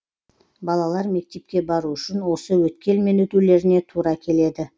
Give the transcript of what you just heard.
балалар мектепке бару үшін осы өткелмен өтулеріне тура келеді